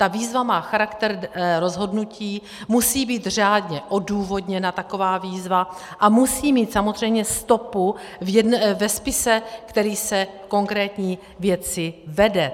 Ta výzva má charakter rozhodnutí, musí být řádně odůvodněna taková výzva a musí mít samozřejmě stopu ve spise, který se v konkrétní věci vede.